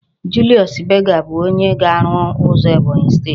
Julius Berger bu onye ga-aru uzo Ebonyi steeti